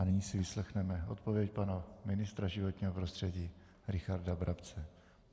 A nyní si vyslechneme odpověď pana ministra životního prostředí Richarda Brabce.